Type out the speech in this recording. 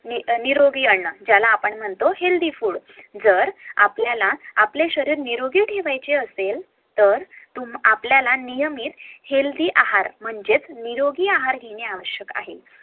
निरोगी अन्न ज्याला आपण म्हणतो HEALTHY FOOD जर आपल्याला आपले शरीर निरोगी ठेवायचे असेल तर आपल्याला नियमीत हेल्दि आहार म्हणजेच निरोगी आहार घेण आवश्यक आहे